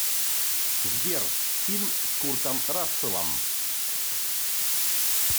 сбер фильм с куртом расселом